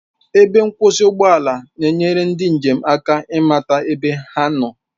Ebe nkwụsị ụgbọ ala na-enyere ndị njem aka ịmata ebe ha nọ